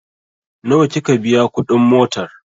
Nawa kika biya kuɗin motar?